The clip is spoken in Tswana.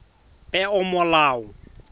peomolao